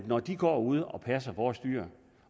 når de går ude og passer vores dyr